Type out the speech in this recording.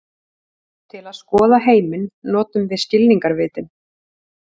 Til að skoða heiminn notum við skilningarvitin.